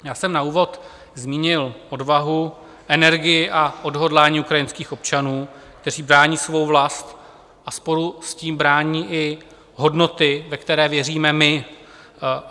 Já jsem na úvod zmínil odvahu, energii a odhodlání ukrajinských občanů, kteří brání svou vlast a spolu s tím brání i hodnoty, ve které věříme my.